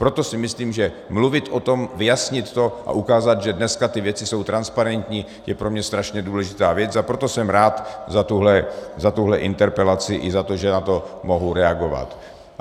Proto si myslím, že mluvit o tom, vyjasnit to a ukázat, že dneska ty věci jsou transparentní, je pro mě strašně důležitá věc, a proto jsem rád za tuhle interpelaci i za to, že na to mohu reagovat.